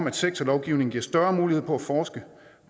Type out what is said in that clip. at sektorlovgivningen giver større mulighed for at forske